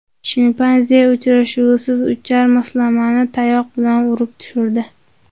Shimpanze uchuvchisiz uchar moslamani tayoq bilan urib tushirdi .